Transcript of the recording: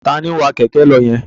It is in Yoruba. Taàní ń wá Kẹ̀kẹ́ lọ yẹn?